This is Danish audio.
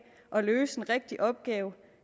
at løse en rigtig opgave